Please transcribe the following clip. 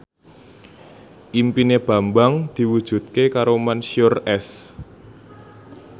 impine Bambang diwujudke karo Mansyur S